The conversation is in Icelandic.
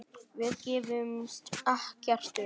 Við gefumst ekkert upp.